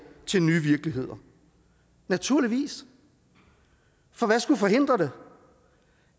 til nye virkeligheder naturligvis for hvad skulle forhindre det